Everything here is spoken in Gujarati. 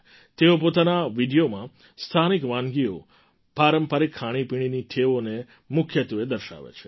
તેઓ પોતાના વિડિયોમાં સ્થાનિક વાનગીઓ પારંપરિક ખાણીપીણીની ટેવોને મુખ્યત્વે દર્શાવે છે